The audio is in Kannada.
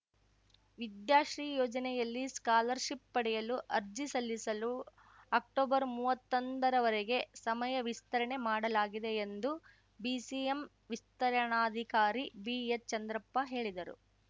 ವಿದ್ಯಾಶ್ರೀ ಯೋಜನೆಯಲ್ಲಿ ಸ್ಕಾಲರ್‌ ಶಿಪ್‌ ಪಡೆಯಲು ಅರ್ಜಿ ಸಲ್ಲಿಸಲು ಅಕ್ಟೊಬರ್ಮೂವತ್ತೊಂದ ರವರೆಗೆ ಸಮಯ ವಿಸ್ತರಣೆ ಮಾಡಲಾಗಿದೆ ಎಂದು ಬಿಸಿಎಂ ವಿಸ್ತರಣಾಧಿಕಾರಿ ಬಿಎಚ್‌ ಚಂದ್ರಪ್ಪ ಹೇಳಿದರು